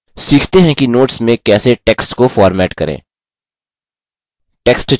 सीखते हैं कि notes में कैसे text को format करें